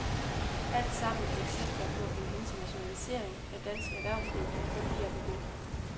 Alt sammen eksempler på en internationalisering af dansk erhvervsliv, der kun lige er begyndt.